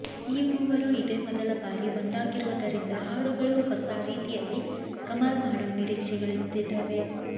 ಈ ಮೂವರೂ ಇದೇ ಮೊದಲ ಬಾರಿ ಒಂದಾಗಿರೋದರಿಂದ ಹಾಡುಗಳೂ ಹೊಸಾ ರೀತಿಯಲ್ಲಿ ಕಮಾಲ್ ಮಾಡೋ ನಿರೀಕ್ಷೆಗಳೆದ್ದಿವೆ